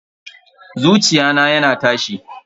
Zuciya na yana tashi.